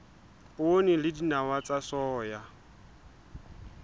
poone le dinawa tsa soya